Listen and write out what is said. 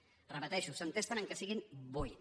ho repeteixo s’entesten que siguin vuit